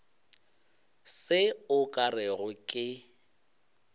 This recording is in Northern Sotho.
se o ka rego ke